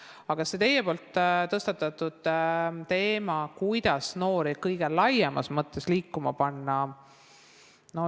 Aga teie tõstatasite teema, kuidas noori kõige laiemas mõttes liikuma panna.